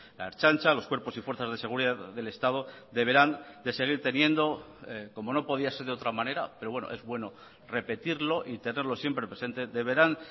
la ertzaintza los cuerpos y fuerzas de seguridad del estado tcomo no podría ser de otra manera pero bueno es bueno repetirlo y tenerlo siempre presentec deberán